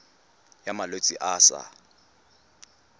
ya malwetse a a sa